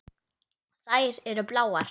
Þær eru bláar.